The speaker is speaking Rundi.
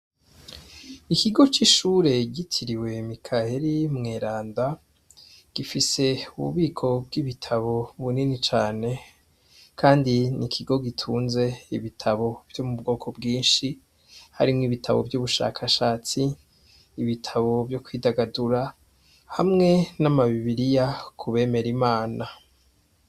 Ikigo c' ishure citiriwe Mikaheli Mweranda gifis' ububiko bw' ibitabo bunini cane kandi n' ikigo gitunz' ibitabo vyubwoko bwinshi, harimw' ibitabo vy' ubushakashatsi, ibitabo vyo kwidagadura, hamwe nama bibiriya kubemera Imana.